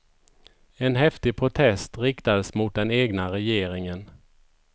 En häftig protest riktades mot den egna regeringen.